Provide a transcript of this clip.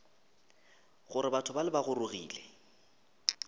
gore batho bale ba gorogile